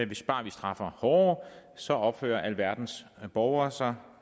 hvis bare man straffer hårdere så opfører alverdens borgere sig